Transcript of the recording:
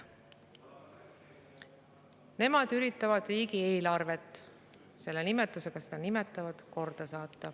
Nemad üritavad riigieelarvet korda saada – nii nad seda nimetavad.